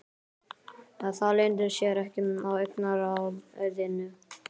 Það leynir sér ekki á augnaráðinu.